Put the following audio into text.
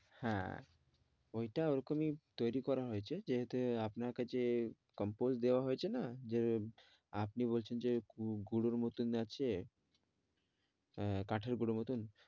হ্যাঁ ওইটা ওরকম ই তৈরী করা হয়েছে যেহেতু আপনার কাছে compose দেওয়া হয়েছে না? যে আপনি বলছেন যে গুঁড়োর মতন আছে আহ কাঠের গুঁড়োর মতন।